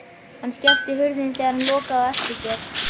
Hann skellti hurðinni þegar hann lokaði á eftir sér.